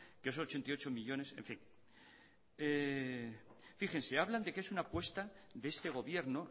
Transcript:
que esos ochenta y ocho millónes en fin fíjense hablan de que es una apuesta de este gobierno